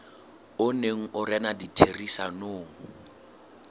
o neng o rena ditherisanong